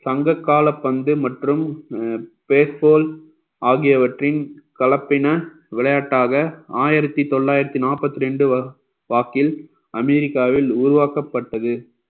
சங்க கால பந்து மற்றும் face pole ஆகியவற்றின் கலப்பின விளையாட்டாக ஆயிரத்தி தொள்ளாயிரத்தி நாற்பத்தி ரெண்டு வா~ வாக்கில் அமெரிக்காவில் உருவாக்கப்பட்டது